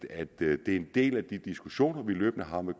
at det er en del af de diskussioner vi løbende har med